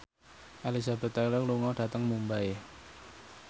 Elizabeth Taylor lunga dhateng Mumbai